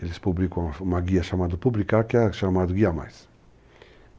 Eles publicam uma guia chamada Publicar, que é chamada Guia Mais.